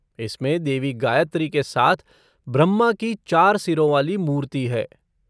इसमें देवी गायत्री के साथ ब्रह्मा की चार सिरों वाली मूर्ति है।